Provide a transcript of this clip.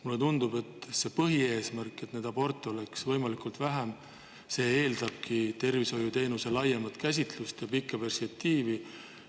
Mulle tundub, et põhieesmärgini – et neid aborte oleks võimalikult vähe – eeldabki tervishoiuteenuse laiemat käsitlust ja pikka perspektiivi.